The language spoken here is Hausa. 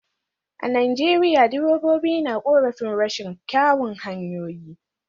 A Najeriya direbobin na korafin rashin kyawun hanyoyi